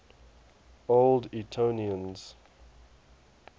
old etonians